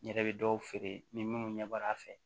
N yɛrɛ bɛ dɔw feere ni minnu ɲɛb'a fɛ